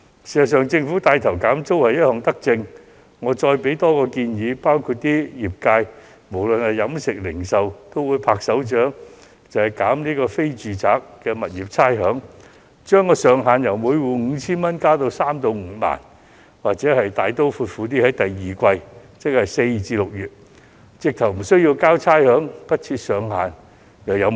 事實上，政府帶頭減租是一項德政，我想提供另一項建議，相信飲食業及零售業均會拍掌歡迎，那就是寬減非住宅物業的差餉，將上限由每戶 5,000 元上調至3萬至5萬元，又或大刀闊斧地直接寬免第二季差餉，不設上限。